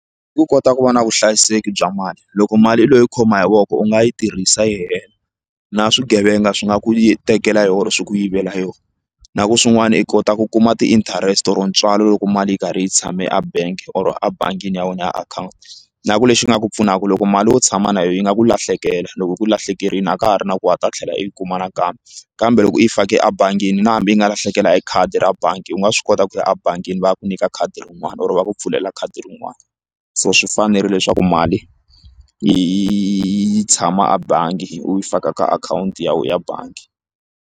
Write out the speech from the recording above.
I ku kota ku va na vuhlayiseki bya mali loko mali leyi u yi khoma hi voko u nga yi tirhisa yi hela na swigevenga swi nga ku tekela hi yona swi ku yivela yoho na ku swin'wana i kota ku kuma ti-interest or ntswalo loko mali yi karhi yi tshame a bank or a bangini ya wena ya akhawunti na ku lexi nga ku pfunaka loko mali wo tshama na yona yi nga ku lahlekela loko yi ku lahlekerile a ka ha ri na ku wa ha ta tlhela i yi kuma nakambe kambe loko yi fake ebangini na hambi yi nga lahlekela hi khadi ra bangi u nga swi kota ku ya a bangini va ya ku nyika khadi rin'wana or va ku pfulela khadi rin'wana so swi fanerile leswaku mali yi tshama a bangi u yi faka ka akhawunti ya wehe ya bangi.